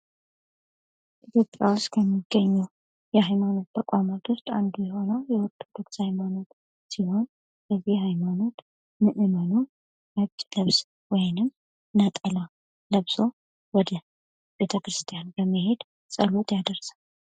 ኢትዮጵያ ውስጥ ከሚገኙ የሃይማኖት ተቋማት ውስጥ አንዱ የሆነው የኦርቶዶክስ ሃይማኖት ሲሆን፤ የዚህ ሃይማኖት ምእመናን ነጭ ለብሰው ወይም ነጠላ ለብሰው ወደ ቤተ ክርስቲያን በመሄድ ጸሎት ያደርሳሉ።